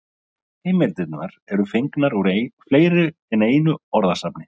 Heimildirnar eru fengnar úr fleiri en einu orðasafni.